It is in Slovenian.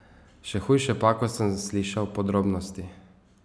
Še hujše pa, ko sem slišal podrobnosti.